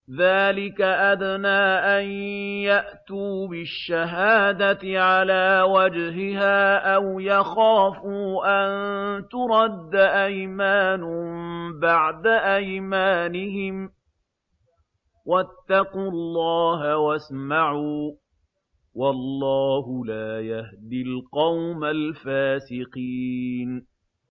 ذَٰلِكَ أَدْنَىٰ أَن يَأْتُوا بِالشَّهَادَةِ عَلَىٰ وَجْهِهَا أَوْ يَخَافُوا أَن تُرَدَّ أَيْمَانٌ بَعْدَ أَيْمَانِهِمْ ۗ وَاتَّقُوا اللَّهَ وَاسْمَعُوا ۗ وَاللَّهُ لَا يَهْدِي الْقَوْمَ الْفَاسِقِينَ